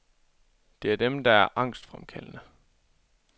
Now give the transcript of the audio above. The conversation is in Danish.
Det er dem der er angstfremkaldende.